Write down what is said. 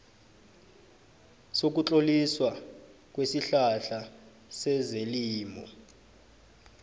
sokutloliswa kwesihlahla sezelimo